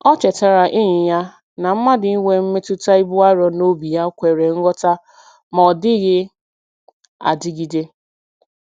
O chetara enyi ya na mmadụ inwe mmetụta ibu arọ n'obi ya kwere nghọta ma ọ dịghị adịgide.